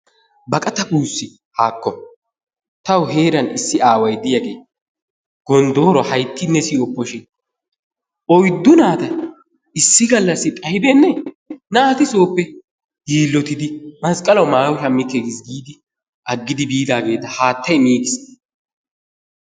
Baqqata buussi haakko! Tawu heeran issi aaway diyagee gonddooro hayttinne siyoppo shin oyddu naata issi gallassi xayddinne naati sooppe yiilottidi masqqalawu maayo shammikke giis giidi agidi biidaageta haattay miigiis.